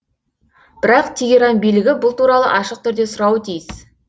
бірақ тегеран билігі бұл туралы ашық түрде сұрауы тиіс